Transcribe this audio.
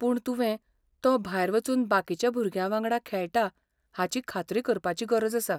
पूण तुवें तो भायर वचून बाकीच्या भुरग्यांवांगडा खेळटा हाची खात्री करपाची गरज आसा.